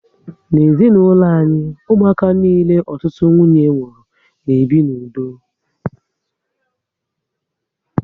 N'ezinaulo anyị, ụmụaka niile ọtụtụ nwunye mụrụ na ebi n'udo